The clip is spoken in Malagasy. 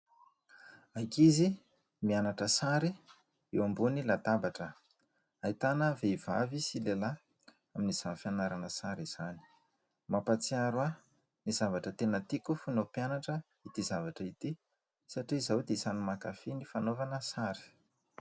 Ankizy mianatra sary eo amboniy latabatra. Ahitana vehivavy sy lehilahy amin'izany fianarana sary izany. Mampahatsiaro aho ny zavatra tena tiako fony mbola mpianatra ity zavatra ity satria izaho dia isany mankafy ny fanaovana sary.